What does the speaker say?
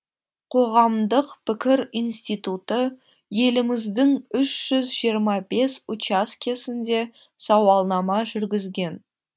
қоғамдық пікір институты еліміздің үш жүз жирыма бес учаскесінде сауалнама жүргізген